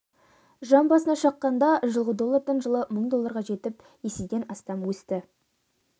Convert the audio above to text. жан басына шаққанда жылғы доллардан жылы мың долларға жетіп еседен астам өсті